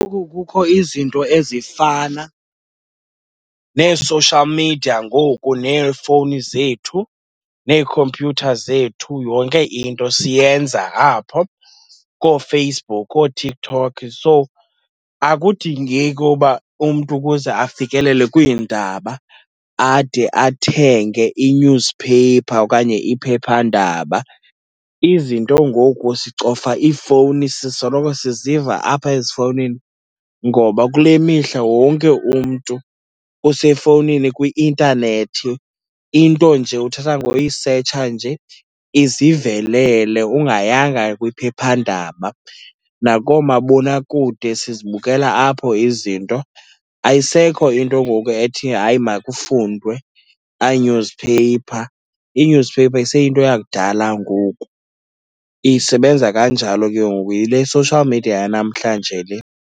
kukho izinto ezifana nee-social media ngoku neeefowuni zethu nee-computer zethu, yonke into siyenza apho kooFacebook, ooTiktok, so akudingeki uba umntu ukuze afikelele kwiindaba ade athenge i-newspaper okanye iphephandaba. Izinto ngoku sicofa iifowuni, sisoloko siziva apha ezifowunini ngoba kule mihla wonke umntu usefowunini kwi-intanethi, into nje uthatha ngoyisetsha nje izivelelele ungayanga kwiphephandaba. Nakoomabonakude sizibukela apho izinto. Ayisekho into ngoku ethi hayi makufundwe newspaper, ii-newspaper iseyinto yakudala ngoku. Isebenza kanjalo ke ngoku, yile social media yanamhlanje le.